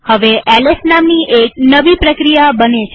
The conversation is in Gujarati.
હવે એલએસ નામની એક નવી પ્રક્રિયા બને છે